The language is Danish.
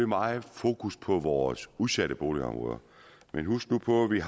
meget fokus på vores udsatte boligområder men husk nu på at vi